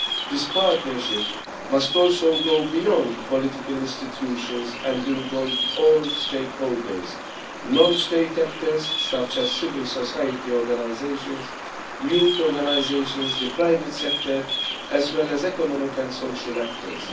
This partnership must also go beyond political institutions and involve all stakeholders non state actors such as civil society organisations, youth organisations, the private sector, as well as economic and social actors.